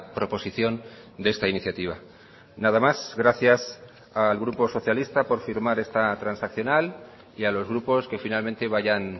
proposición de esta iniciativa nada más gracias al grupo socialista por firmar esta transaccional y a los grupos que finalmente vayan